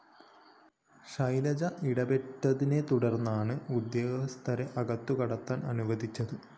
ശൈലജ ഇടപെട്ടതിനെതുടർന്നാണ് ഉദ്യോഗസ്ഥരെ അകത്തുകടക്കാൻ അനുവദിച്ചത്